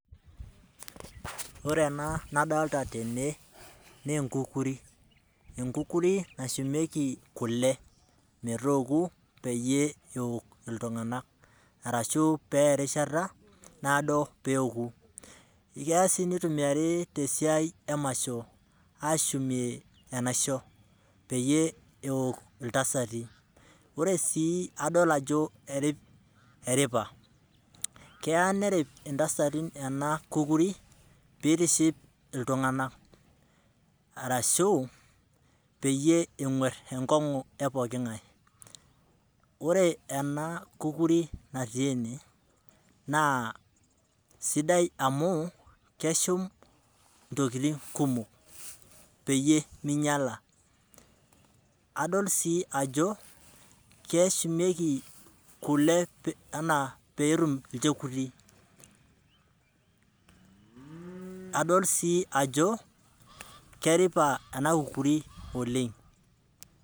Ore ena nadoolta tene naa enkukukuri. Enkukukuri nashumeiki kule meetoku peyie eok iltunganak aashu peeya erishata naado pee eoku. Keya sii nitumiyari te siai emasho aashumie enaisho peyie eok iltasati. Ore adol ajo eripa keya nerip intasati ena kukuri pee eitiship iltunganak arashu peyie enkuer enkongu eboo epooki ngae. Ore ena kukuri natii ene naa sidai amu keshum intokitin kumok peyie minyiala, adol sii ajo keshumieki kule pee etum ilchekuti. Adol sii ajo keripa ena kukuri oleng'.